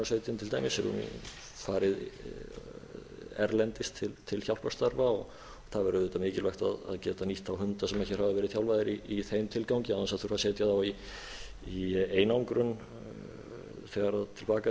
hamfarabjörgunarsveit til dæmis hafa farið erlendis til hjálparstarfa það væri auðvitað mikilvægt að geta nýtt þá hunda sem hér hafa verið þjálfaðir í þeim tilgangi án þess að þurfa að setja þá í einangrun þegar til baka